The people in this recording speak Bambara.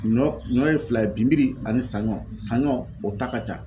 Ɲɔ ɲɔ ye fila ye binbiri ani saɲɔ, saɲɔ o ta ka ca .